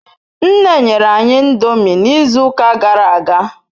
Nne nyere anyi ndomi n'izu uka gara aga